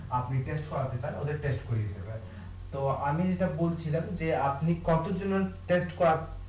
আপনি করবেন ওদের করিয়ে নেবেন তো আমি যেটা বলছিলাম আপনি কতো জনের করাতে